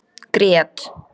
Grét